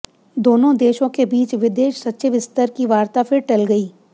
दोनों देशों के बीच विदेश सचिव स्तर की वार्ता फिर टल गई